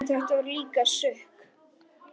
En þetta var líka sukk.